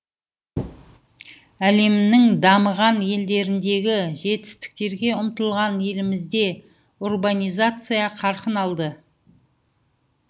әлемнің дамыған елдеріндегі жетістіктерге ұмтылған елімізде урбанизация қарқын алды